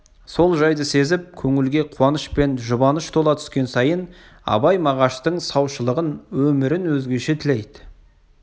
сол жайды сезіп көңілге қуаныш пен жұбаныш тола түскен сайын абай мағаштың саушылығын өмірін өзгеше тілейді